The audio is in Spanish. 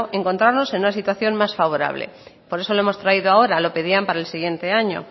encontrarnos en una situación más favorable por eso lo hemos traído ahora lo pedían para el siguiente año